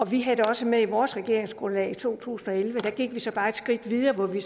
vi havde det også med i vores regeringsgrundlag i to tusind og elleve der gik vi så bare et skridt videre hvor vi